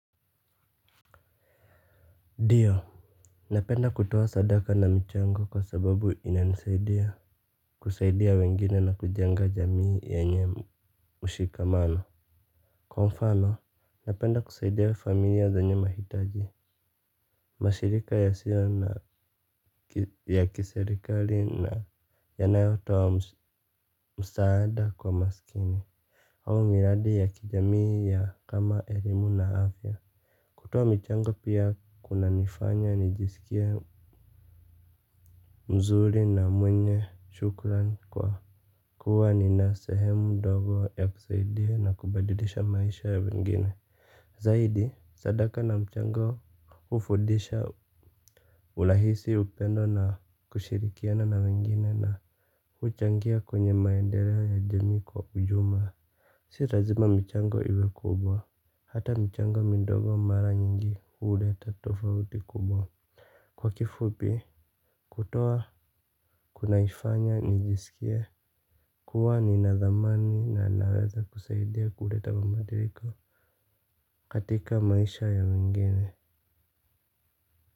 Ndio, napenda kutoa sadaka na michango kwa sababu inanisaidia kusaidia wengine na kujenga jamii yenye mshikamano. Kwa mfano, napenda kusaidia familia zenye mahitaji. Mashirika ya sio na ya kiserikali na yanayotoa msaada kwa maskini. Au miradi ya kijamii ya kama elimu na afya. Kutoa michango pia kuna nifanya nijisikie mzuri na mwenye shukran kwa kuwa ni na sehemu ndogo ya kusaidia na kubadilisha maisha ya wengine. Zaidi sadaka na mchango hufudisha urahisi upendo na kushirikiana na wengine na huchangia kwenye maendeleo ya jamii kwa ujumla. Si rlazima mchango iwe kubwa. Hata michango midogo mara nyingi huleta tofauti kubwa kwa kifupi kutoa kunanifanya nijisikie kuwa ninadhamani na naweza kusaidia kuleta mabadiliko katika maisha ya wengine.